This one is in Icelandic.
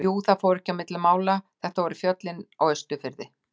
Jú, það fór ekki á milli mála, þetta voru fjöllin á Austurfirði.